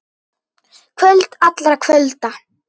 Kvöld allra kvölda.